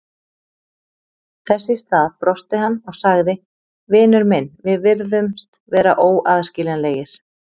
Þess í stað brosti hann og sagði: Vinur minn, við virðumst vera óaðskiljanlegir